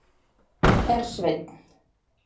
Hersveinn